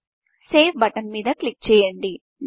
save button మీద click చేయండి